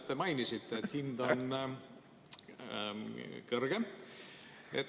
Te mainisite, et hind on kõrgem.